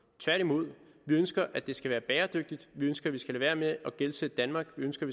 tværtimod vi ønsker at det skal være bæredygtigt vi ønsker at vi skal lade være med at gældsætte danmark vi ønsker